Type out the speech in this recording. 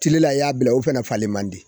Tile la i y'a bila, olu fɛnɛ falen man di